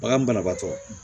Bagan banabaatɔ